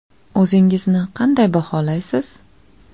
O‘zingizni qanday baholaysiz?